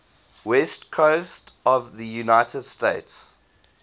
west coast of the united states